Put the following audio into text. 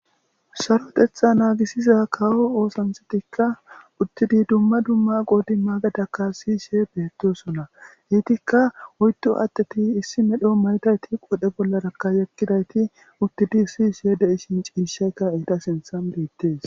sarotetha naagisiza kawo oosanthetikka uttidi dumma dumma qoodi maagadakka siishe beettosona heytikka oytu aatteti issi medho maytayti qodhe bollaraka yekkidayti uttidi siishe de7i shin ciishaykka eta sinthan beettes